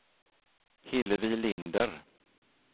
Hillevi Linder